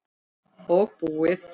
Og búið.